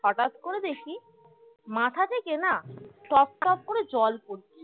হঠাৎ করে দেখি মাথা থেকে না টপটপ করে জল পরছে